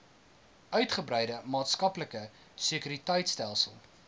uitgebreide maatskaplike sekuriteitstelsel